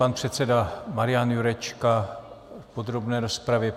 Pan předseda Marian Jurečka v podrobné rozpravě.